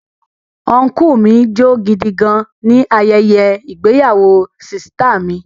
Ọnkúu mi jó gidi gan-an ni ayẹyẹ ìgbéyàwó sìsìtá mi